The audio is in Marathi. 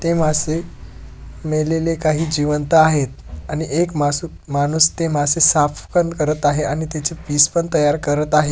ते मासे मेलेले काही जीवंत आहेत आणि एक मास माणूस ते मासे साफ पण करत आहे आणि त्याचे पिस पन तयार करत आहे.